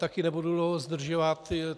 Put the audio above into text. Také nebudu dlouho zdržovat.